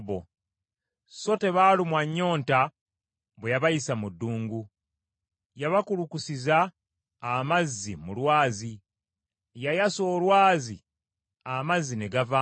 So tebaalumwa nnyonta bwe yabayisa mu malungu. Yabakulukusiza amazzi mu lwazi: yayasa olwazi amazzi ne gavaamu.